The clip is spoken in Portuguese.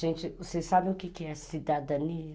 Gente, vocês sabem o que é cidadania?